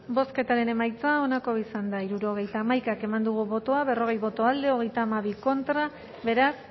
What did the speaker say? bozketaren emaitza onako izan da hirurogeita hamaika eman dugu bozka berrogei boto alde treinta y dos contra beraz